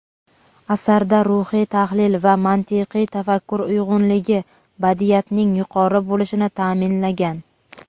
Asarda ruhiy tahlil va mantiqiy tafakkur uyg‘unligi badiiyatning yuqori bo‘lishini taʼminlagan.